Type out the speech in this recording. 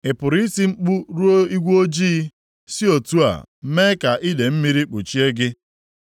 “Ị pụrụ iti mkpu ruo igwe ojii si otu a mee ka idee mmiri kpuchie gị?